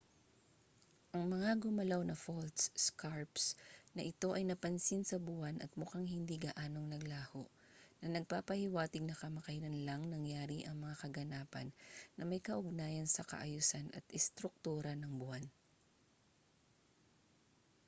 ang mga gumalaw na faults scarps na ito ay napansin sa buwan at mukhang hindi gaanong naglaho na nagpapahiwatig na kamakailan lang nangyari ang mga kaganapan na may kaugnayan sa kaayusan at istruktura ng buwan